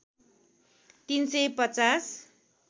३ सय ५०